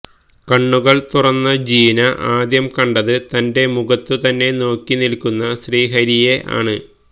കണ്ണുകൾ തുറന്ന ജീന ആദ്യം കണ്ടത് തന്റെ മുഖത്തു തന്നെ നോക്കി നിൽക്കുന്ന ശ്രീഹരിയെ ആണ്